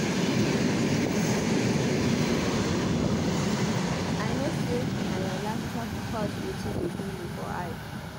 I no say na your laptop cause wetin dey do you for eye.